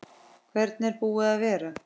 Hvernig er búið að vera?